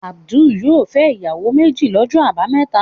Adu yóò fẹ́ ìyàwó méjì lọ́jọ́ àbámẹ́ta.